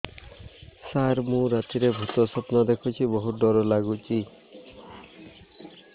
ସାର ମୁ ରାତିରେ ଭୁତ ସ୍ୱପ୍ନ ଦେଖୁଚି ବହୁତ ଡର ଲାଗୁଚି